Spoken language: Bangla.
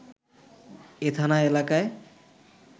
এ থানা এলাকায়